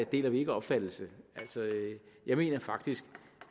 deler vi ikke opfattelse jeg mener faktisk